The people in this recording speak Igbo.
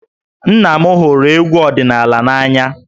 Nna m hụrụ egwú ọdịnala n'anya